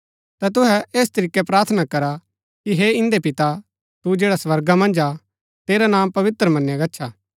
ता तुहै ऐस तरीकै प्रार्थना करा कि हे इन्दै पिता तू जैडा स्वर्गा मन्ज हा तेरा नां पवित्र मनया गच्छा